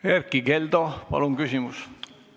Erkki Keldo, palun küsimus!